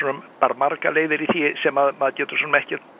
margar leiðir í því sem maður getur ekkert